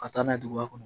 Ka taa n'a ye duguba kɔnɔ